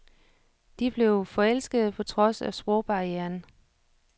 De blev forelskede på trods af sprogbarrieren.